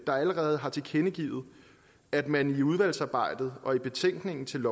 allerede har tilkendegivet at man i udvalgsarbejdet og i betænkningen til